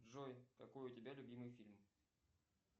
джой какой у тебя любимый фильм